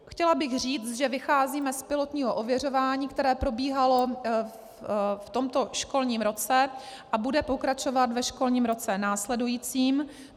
Chtěla bych říct, že vycházíme z pilotního ověřování, které probíhalo v tomto školním roce a bude pokračovat ve školním roce následujícím.